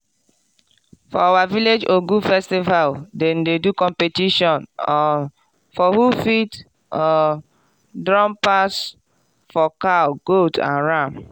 for our village ogun festival dem dey do competition um for who fit um drum pass for cow goat and ram.